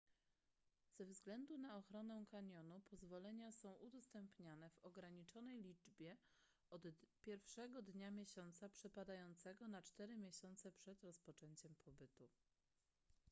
ze względu na ochronę kanionu pozwolenia są udostępniane w ograniczonej liczbie od pierwszego dnia miesiąca przypadającego na cztery miesiące przed rozpoczęciem pobytu